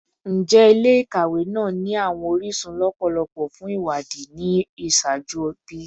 Njẹ ile-ikawe naa ni awọn orisun lọpọlọpọ fun iwadii ni iṣaaju bi?